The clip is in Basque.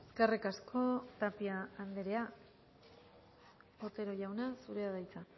eskerrik asko tapia andrea otero jauna zurea da hitza